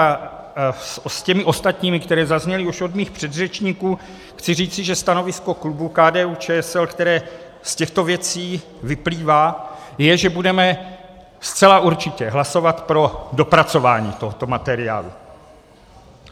A s těmi ostatními, které zazněly už od mých předřečníků, chci říci, že stanovisko klubu KDU-ČSL, které z těchto věcí vyplývá, je, že budeme zcela určitě hlasovat pro dopracování tohoto materiálu.